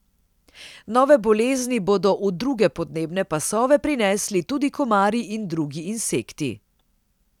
Nove bolezni bodo v druge podnebne pasove prinesli tudi komarji in drugi insekti.